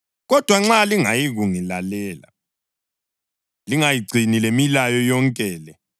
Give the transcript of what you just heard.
“ ‘Kodwa nxa lingayikungilalela, lingayigcini lemilayo yonke le,